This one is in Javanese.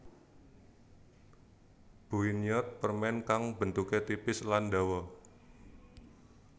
Buinnyeot permen kang bentuke tipis lan dawa